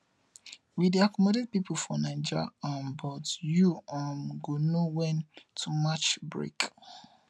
we dey accommodate pipu for naija um but you um go know wen to match break